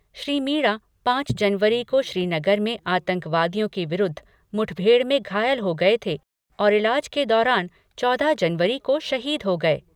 श्री मीणा पाँच जनवरी को श्रीनगर में आतंकवादियों के विरूद्ध मुठभेड़ में घायल हो गये थे और इलाज के दौरान चौदह जनवरी को शहीद हो गये।